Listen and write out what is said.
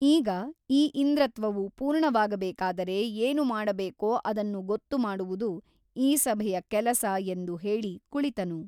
ಈಗ ಆ ಇಂದ್ರತ್ವವು ಪೂರ್ಣವಾಗಬೇಕಾದರೆ ಏನು ಮಾಡಬೇಕೋ ಅದನ್ನು ಗೊತ್ತು ಮಾಡುವುದು ಈ ಸಭೆಯ ಕೆಲಸ ಎಂದು ಹೇಳಿ ಕುಳಿತನು.